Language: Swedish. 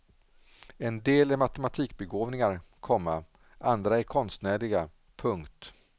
En del är matematikbegåvningar, komma andra är konstnärliga. punkt